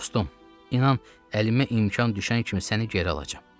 Dostum, inan, əlimə imkan düşən kimi səni geri alacam.